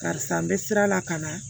Karisa n bɛ sira la ka na